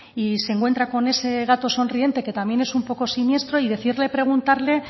y se encuentra con ese gato sonriente que también es un poco siniestro y decide preguntarle